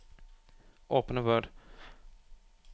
Åpne Word